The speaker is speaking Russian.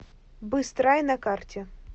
быстрай на карте